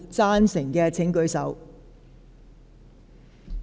贊成的請舉手。